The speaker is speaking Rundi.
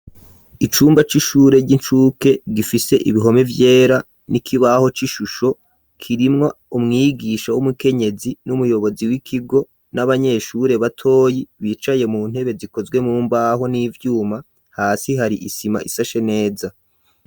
Icumba c'ishure ry'incuke gifise ibihome vyera n'ikibaho c'ishusho kirimwa umwigisha w'umukenyezi n'umuyobozi w'ikigo n'abanyeshure batoyi bicaye mu ntebe zikozwe mumbaho n'ivyuma hasi hari isima isashe neza.